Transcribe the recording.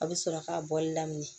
A bɛ sɔrɔ ka bɔli daminɛ